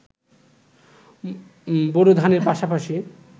bore ধানের পাশাপাশি